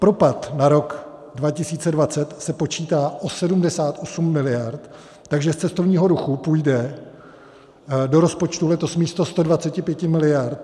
Propad na rok 2020 se počítá o 78 miliard, takže z cestovního ruchu půjde do rozpočtu letos místo 125 miliard méně než 50 miliard.